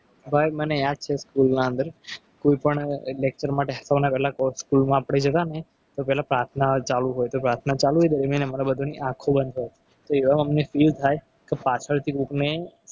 ભાઈ મને યાદ છે. એક school ના અંદર કોઈપણ inspector માટે phone આવે એટલે school માં આપણે જતા ને તો પહેલા પ્રાર્થના ચાલુ હોય તો પ્રાર્થના ચાલુ મને madam વાંધો નહીં આંખો બંધ કરો એવામાં અમને feel થાય કે કે પાછળથી કોઈએ.